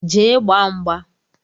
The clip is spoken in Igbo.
Jee gbaa mgba!